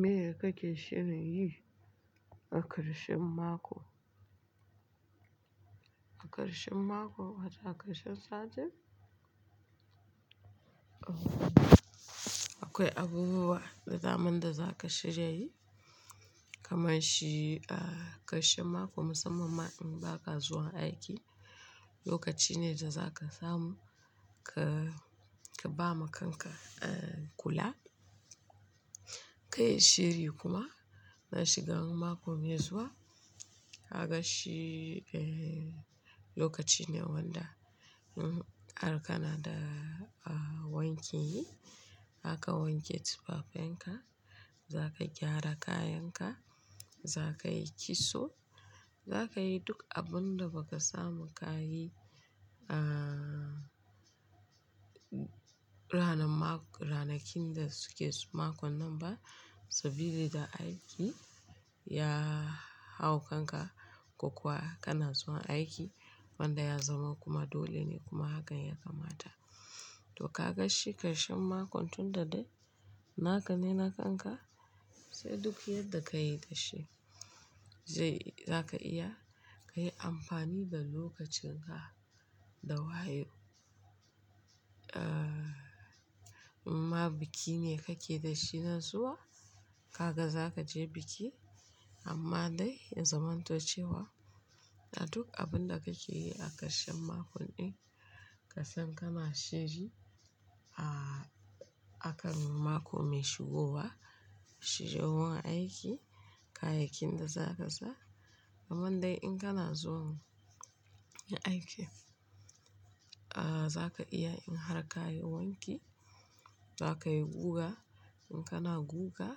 Meye kake shirin yi a ƙarshen mako? A ƙarshen mako, a da ƙarshen satin? Akwai abubuwa da zaman da zaka shirya yi kamar shi a ƙarshen mako musamman ma in baka zuwa aiki, lokaci ne da zaka samu ka, ka ba makanka kula. Ka yi shiri kuma na shiga mako mai zuwa aka shi lokaci ne wanda in a Canada wanki yi, zaka wanke tufafenka, za ka gyara kayanka, za ka yi kitso, za ka yi duk abun da baka samu ka yi a ranar ma-- ranakun da suke makon nan ba saboda aiki ya hau kanka ko kuwa kana zuwa aiki wanda ya zama kuma dole ne kuma hakan ya kamata. To ka ga shi ƙarshen makon tunda dai naka ne nakanka sai duk yadda ka yi da shi zai-- za ka iya ka yi amfani da lokacin ka da wayo. Ah, ma biki ne kake da shi nan zuwa, haka za ka je biki amma dai in zamantace wa da duk abin da kake yi a ƙarshen makon ɗin kasan kana shirya a, akan mako mai shigowa, shirye zuwa aiki, kayakin da za ka sa. Aman dai in kana zuwa aiki, ah, za ka iya in har ka yi wanki, za ka yi guga in kana guga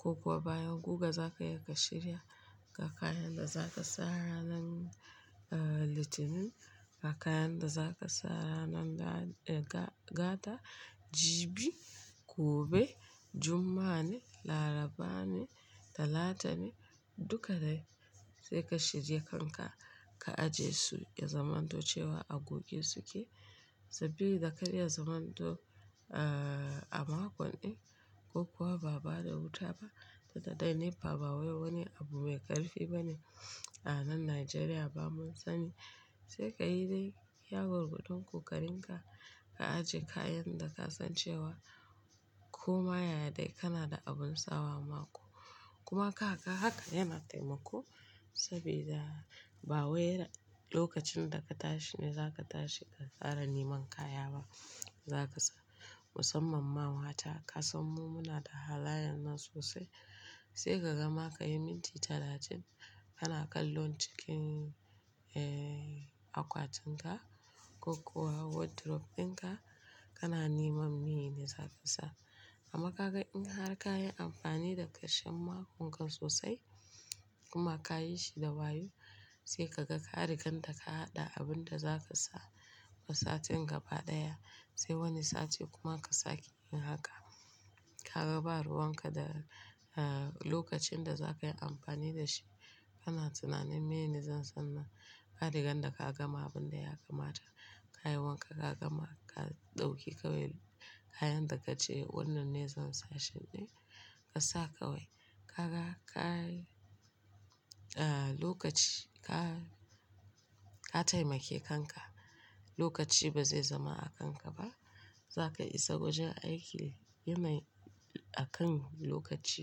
ko kuwa bayan guga za ka yi ka shirya ga kayan da za ka sa ranan litinin, ga kayan da za ka sa ranan ga-ga-gada, jibi, gobe, juma'ane, larabane, talatani duka dai sai ka shirya kanka ka ajiye su da zamantocewa a guge suke saboda da karya zamanto a makon ɗin ko kuwa ba da wuta ba da dadai ne ba, ba wani abu mai ƙarfi bane a nan Najeriya ba mun sani. Sai ka yi dai, ya gurgu don ku ƙarin ka, ka ajiye kayan da ka san cewa koma yaya dai kana da abin sawa mako kuma ka haka, haka yana taimako saboda ba wai lokacin da ka tashi ne za ka tashi ka fara neman kaya ba za ka sa. Musamman ma wata ka san mu muna da halayen nan sosai sai ka gama ka yi minti talatin kana kallon cikin akwatinka ko kuwa wardrobe ɗinka kana neman mene za ka sa. Amma ka ga in har ka yi amfani da ƙarshen makon ka sosai kuma ka yi shi da wayo sai ka ga ƙarigan da ka haɗa abin da za ka sa ma satin gaba ɗaya sai wani sati kuma ka sake yin haka. Ka ga ba ruwan ka da lokacin da za ka yi amfani da shi kana tunanin mene zan sanna. Ƙarigan da ka gama abin da ya kamata ka yi wanka ka gama ka ɗauki kawai kayan da kace wannan ne zan sa satin ɗin ka sa kawai. Ka ga ka yi lokaci ka, ka taimake kanka lokaci ba zai zama a kanka ba. Za ka isa wurin aiki yi mai akan lokaci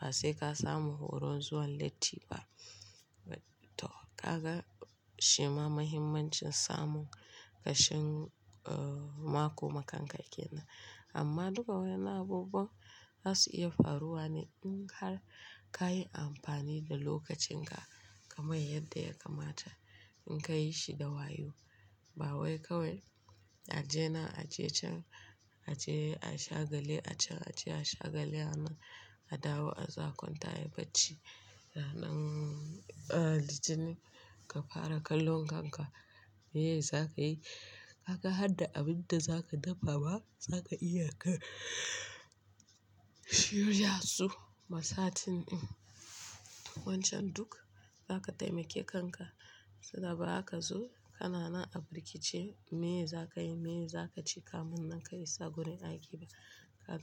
ba sai ka samu horo zuwa latti ba. To ka ga shima mahimmancin samun ƙarshen mako ma kanka yake nan. Amma duka waɗannan abubuwa za su iya faruwa ne in har ka yi amfani da lokacin ka kamar yadda ya kamata in ka yi shi da wayo. Ba wai kawai a je na a je can, a je a shagali, a can a je a shagali, a nan a dawo a zo a kwan tayi bacci. Ranan litinin ka fara kallon kanka, meye za ka yi? Kaka haɗa abun da za ka dafa ba za ka iya ka shirya su ma satin ɗin. Wancan duk za ka taimake kanka saboda ba haka zuwa kana nan a birkice meye za ka yi, meye za ka ci kam nan ka isa wurin aiki ba. Kaga.